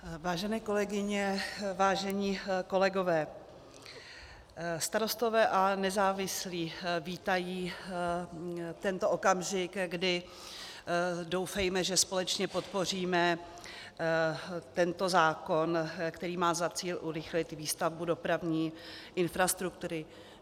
Vážené kolegyně, vážení kolegové, Starostové a nezávislí vítají tento okamžik, kdy, doufejme, že společně podpoříme tento zákon, který má za cíl urychlit výstavbu dopravní infrastruktury.